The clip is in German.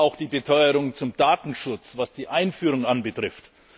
Ich glaube auch den Beteuerungen zum Datenschutz, was die Einführung betrifft.